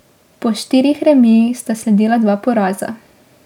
Po štirih remijih sta sledila dva poraza.